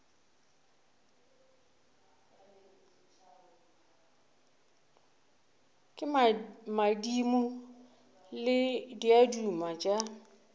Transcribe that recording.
ke madimo le diaduma tša